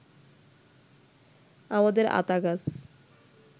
আমাদের আতা গাছ